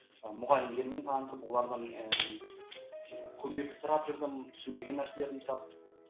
мұғалімдермен танысып олардан ііі көмек сұрап жүрдім түсінбеген нәрселерімді сұрап